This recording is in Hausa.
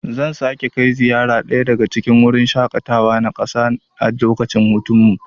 Zan sake kai ziyara daya daga cikin gurin shaƙatawa na ƙasa a lokacin hutunmu.